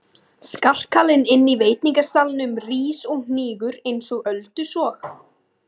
Skarkalinn inní veitingasalnum rís og hnígur einsog öldusog.